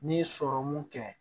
N'i ye sɔrɔmu kɛ